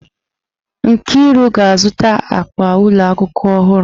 Nkiri ga-azụta akpa ụlọ akwụkwọ ọhụrụ.